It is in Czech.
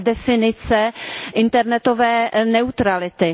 definice internetové neutrality.